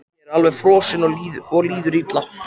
Ég er alveg frosinn og líður illa.